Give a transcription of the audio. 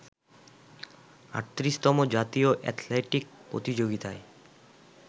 ৩৮তম জাতীয় অ্যাথলেটিক প্রতিযোগিতায়